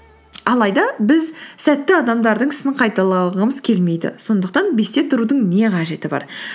алайда біз сәтті адамдардың ісін қайталағымыз келмейді сондықтан бесте тұрудың не қажеті бар